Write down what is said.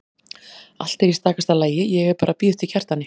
Allt er í stakasta lagi, ég er bara að bíða eftir Kjartani.